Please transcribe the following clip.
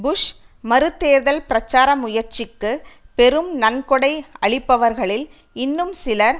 push மறுதேர்தல் பிரச்சார முயற்சிக்குப் பெரும் நன்கொடை அளிப்பவர்களில் இன்னும் சிலர்